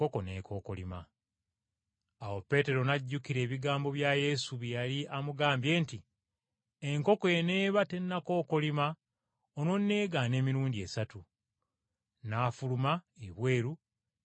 Awo Peetero n’ajjukira ebigambo bya Yesu bye yali amugambye nti, “Enkoko eneeba tennakookolima onoonneegaana emirundi esatu.” N’afuluma ebweru ng’akaaba nnyo amaziga.